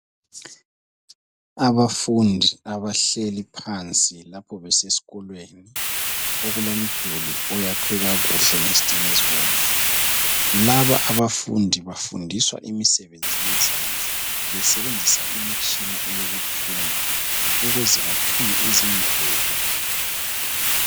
Abafundi abahleli phansi lapho besesikolweni, okulomduli oyakhwe kakuhle ngezitina ezibomvu. Laba abafundi bafundiswa imisebenzi yezendla besebenzisa imitshina eyokuthunga, ukuze bathunge izingubo.